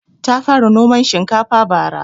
Ta fara noman shinkafa bara